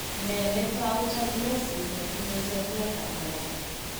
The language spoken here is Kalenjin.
Nee netou Tylosis netinye seriatab mwokto?